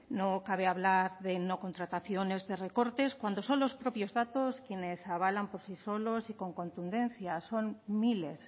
no cabe hablar de no contrataciones de recortes cuando son los propios datos quienes avalan por sí solos y con contundencia son miles